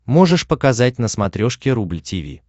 можешь показать на смотрешке рубль ти ви